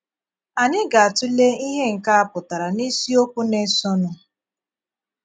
Anyị ga - atụ̀lè ihe nke a pụtara n’ìsìokwu na - esonụ.